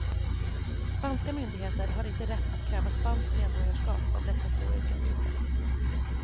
Spanska myndigheter har inte rätt att kräva spanskt medborgarskap av dessa två yrkesgrupper.